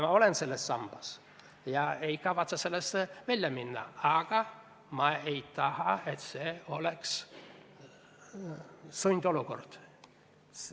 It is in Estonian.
Ma olen selle sambaga liitunud ja ei kavatse sellest lahkuda, aga ma ei taha, et see oleks sundolukord.